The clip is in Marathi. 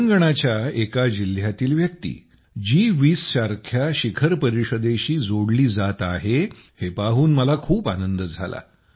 तेलंगणाच्या एका जिल्ह्यातील व्यक्ती जी20 सारख्या शिखर परिषदेशी जोडली जात आहे हे पाहून मला खूप आनंद झाला